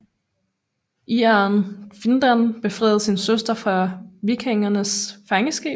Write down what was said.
Ireren Findan befriede sin søster fra vikingernes fangenskab